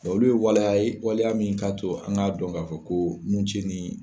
Olu ye waleya ye waliya min k'a to an k'a dɔn k'a fɔ ko mun tiɲɛni.